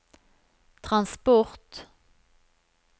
transport